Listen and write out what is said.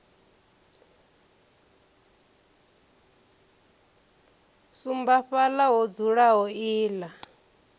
sumba fhaḽa ho dzulaho iḽla